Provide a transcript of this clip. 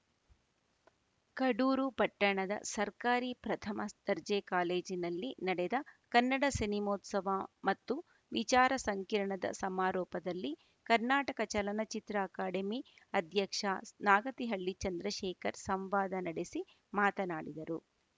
ಕಡೂರು ಪಟ್ಟಣದ ಸರ್ಕಾರಿ ಪ್ರಥಮ ದರ್ಜೆ ಕಾಲೇಜಿನಲ್ಲಿ ನಡೆದ ಕನ್ನಡ ಸಿನಿಮೋತ್ಸವ ಮತ್ತು ವಿಚಾರ ಸಂಕಿರಣದ ಸಮಾರೋಪದಲ್ಲಿ ಕರ್ನಾಟಕ ಚಲನಚಿತ್ರ ಅಕಾಡೆಮಿ ಅಧ್ಯಕ್ಷ ನಾಗತಿಹಳ್ಳಿ ಚಂದ್ರಶೇಖರ್‌ ಸಂವಾದ ನಡೆಸಿ ಮಾತನಾಡಿದರು